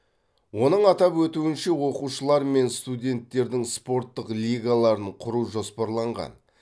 оның атап өтуінше оқушылар мен студенттердің спорттық лигаларын құру жоспарланған